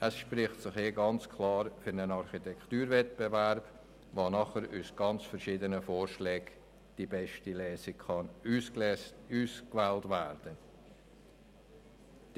Das spricht ganz klar für einen Architekturwettbewerb, damit anschliessend aus ganz verschiedenen Vorschlägen die beste Lösung ausgewählt werden kann.